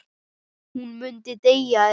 Hún myndi deyja ef.?